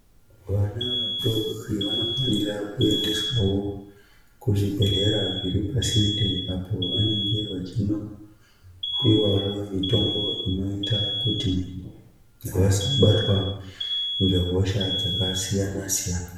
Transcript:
Vana vadoodori vanofanira kuendeswawo kuzvibhadhlera zviripasinde apo vanenge vachinopiwawo mitombo inoita kuti vasabatwa ngehosha dzakasiyana siyana .